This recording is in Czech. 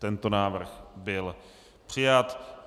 Tento návrh byl přijat.